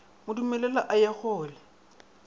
mo dumelele a ye kgole